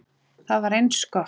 Það var eins gott!